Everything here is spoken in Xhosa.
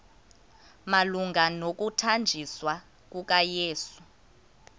malunga nokuthanjiswa kukayesu